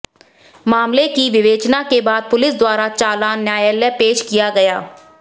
मामले की विवेचना के बाद पुलिस द्वारा चालान न्यायालय पेश किया गया